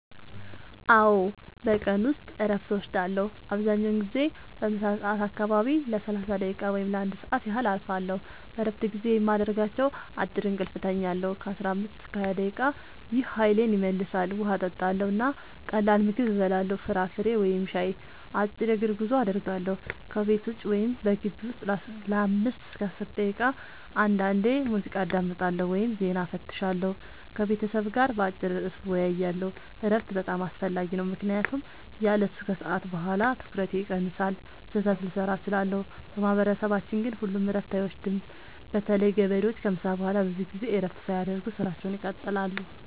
አዎ፣ በቀን ውስጥ እረፍት እወስዳለሁ። አብዛኛውን ጊዜ በምሳ ሰዓት አካባቢ ለ30 ደቂቃ ወይም ለ1 ሰዓት ያህል እረፋለሁ። በእረፍት ጊዜዬ የማደርጋቸው፦ · አጭር እንቅልፍ እተኛለሁ (15-20 ደቂቃ) – ይህ ኃይሌን ይመልሳል። · ውሃ እጠጣለሁ እና ቀላል ምግብ እበላለሁ (ፍራፍሬ ወይም ሻይ)። · አጭር የእግር ጉዞ አደርጋለሁ – ከቤት ውጭ ወይም በግቢው ውስጥ ለ5-10 ደቂቃ። · አንዳንዴ ሙዚቃ አዳምጣለሁ ወይም ዜና እፈትሻለሁ። · ከቤተሰብ ጋር በአጭር ርዕስ እወያያለሁ። እረፍት በጣም አስፈላጊ ነው ምክንያቱም ያለሱ ከሰዓት በኋላ ትኩረቴ ይቀንሳል፣ ስህተት ልሠራ እችላለሁ። በማህበረሰባችን ግን ሁሉም እረፍት አይወስዱም – በተለይ ገበሬዎች ከምሳ በኋላ ብዙ ጊዜ እረፍት ሳያደርጉ ሥራቸውን ይቀጥላሉ።